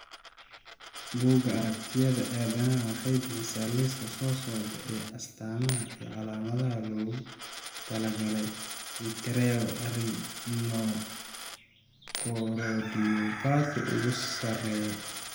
Bugga Aaragtiyaha Aadanaha waxay bixisaa liiska soo socda ee astamaha iyo calaamadaha loogu talagalay Vitreoretinochoroidopathy ugu sarreeya.